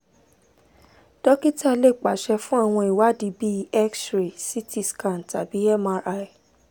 dókítà lè pàṣẹ fún àwọn ìwádìí bíi x-ray ct scan tàbí mri